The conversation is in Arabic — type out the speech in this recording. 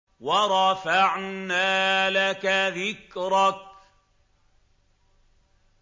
وَرَفَعْنَا لَكَ ذِكْرَكَ